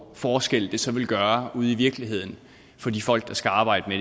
forskel det så vil gøre ude i virkeligheden for de folk der skal arbejde